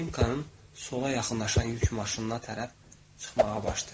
Linqanın sola yaxınlaşan yük maşınına tərəf çıxmağa başlayır.